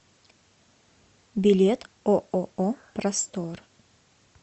билет ооо простор